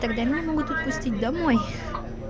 тогда меня могут отпустить домой